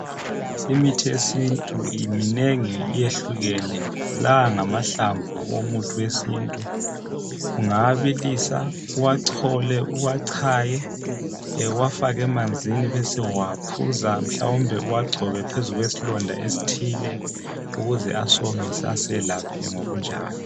Imithi yesintu iminengi, iyehlukene. La ngamahlamvu omuthi wesintu. Ungawabilisa, uwachole, uwachanye, uwafake umanzini ubesuwaphuza mhlawumbe uwagcobe phezu kwesilonda esithile ukuze asomise aselaphe ngokunjalo.